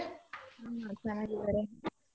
ಹ್ಮ ಚೆನ್ನಾಗಿದಾರೆ .